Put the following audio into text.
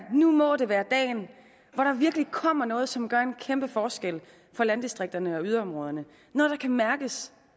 at nu må det være dagen hvor der virkelig kommer noget som gør en kæmpe forskel for landdistrikterne og yderområderne noget der kan mærkes